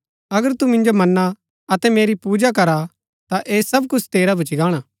अगर तू मिन्जो मन्ना अतै मेरी पूजा करा ता ऐह सब कुछ तेरा भूच्ची गाणा